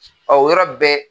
Ɔ o yɔrɔ bɛɛ.